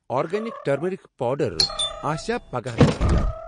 Organic turmeric powder آسیٚا پگاہہٕ دٔستِیاب؟